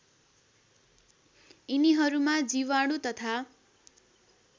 यिनीहरूमा जीवाणु तथा